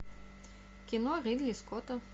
кино ридли скотта